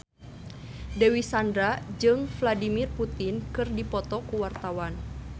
Dewi Sandra jeung Vladimir Putin keur dipoto ku wartawan